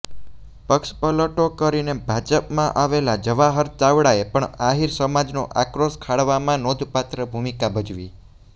પક્ષપલટો કરીને ભાજપમાં આવેલા જવાહર ચાવડાએ પણ આહિર સમાજનો આક્રોશ ખાળવામાં નોંધપાત્ર ભૂમિકા ભજવી